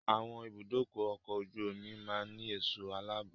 Àwọn ibùdókọ̀ ọkọ̀ ojú omi máa ń ní ẹ̀sọ́ aláàbò.